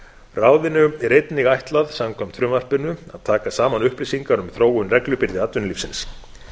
ráðinu er einnig ætlað samkvæmt frumvarpinu að taka saman upplýsingar um þróun reglubyrði atvinnulífsins